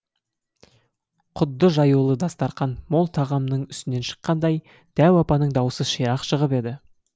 құдды жаюлы дастарқан мол тағамның үстінен шыққандай дәу апаның дауысы ширақ шығып еді